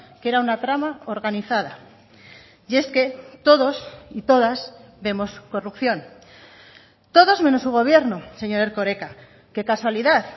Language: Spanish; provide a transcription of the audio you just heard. que era una trama organizada y es que todos y todas vemos corrupción todos menos su gobierno señor erkoreka qué casualidad